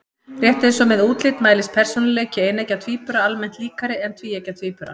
Rétt eins og með útlit mælist persónuleiki eineggja tvíbura almennt líkari en tvíeggja tvíbura.